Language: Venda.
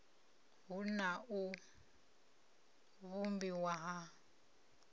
hu na u vhumbiwa ha